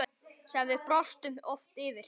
Sem við brostum oft yfir.